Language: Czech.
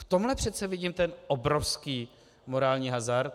V tomhle přece vidím ten obrovský morální hazard.